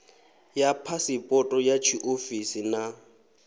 ya phasipoto ya tshiofisi na